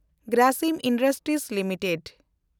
Grasim industries limited